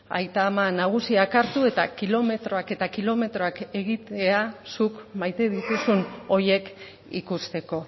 aita ama nagusiak hartu eta kilometroak eta kilometroak egitea zuk maite dituzun horiek ikusteko